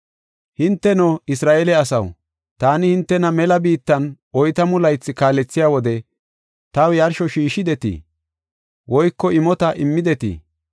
“Hinteno, Isra7eele asaw, taani hintena mela biittan oytamu laythi kaalethiya wode, taw yarsho shiishidetii? Woyko imota immidetii?